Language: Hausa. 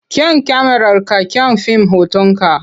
Kyan kyamararka kyan fim hotonka.